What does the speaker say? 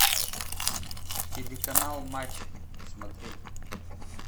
телеканал матч смотреть